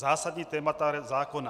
Zásadní témata zákona.